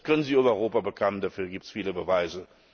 Das können sie über Europa bekommen, dafür gibt es viele Beweise.